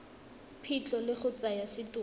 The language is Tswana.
phitlho le go tsaya setopo